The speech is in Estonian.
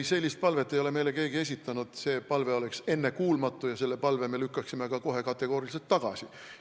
Ei, sellist palvet ei ole meile keegi esitanud, see palve oleks ennekuulmatu ja selle palve me lükkaksime ka kohe kategooriliselt tagasi.